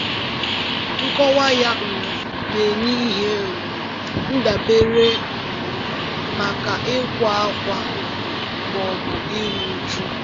Nkọwa ya um na-enye ihe um ndabere um maka ịkwa ákwá ma ọ bụ iru uju.